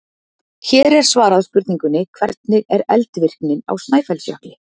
Hér er svarað spurningunni: Hvernig er eldvirknin á Snæfellsjökli?